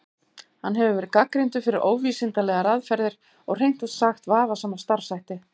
Hann hefur verið gagnrýndur fyrir óvísindalegar aðferðir og hreint út sagt vafasama starfshætti.